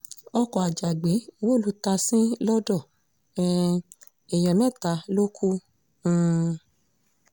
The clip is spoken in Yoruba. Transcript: ọkọ̀ ajàgbẹ́ wó lu tásín lọ́dọ̀ um èèyàn mẹ́ta ló kù um